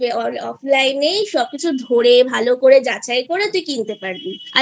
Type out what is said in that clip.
offline এই সবকিছু ধরে ভালো করে যাচাই করে তুই কিনতে পারবি